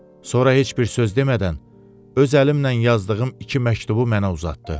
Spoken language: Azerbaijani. Sonra heç bir söz demədən öz əlimlə yazdığım iki məktubu mənə uzatdı.